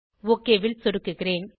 okay ல் சொடுக்குகிறேன்